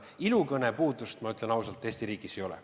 Ilukõne puudust, ma ütlen ausalt, Eesti riigis ei ole.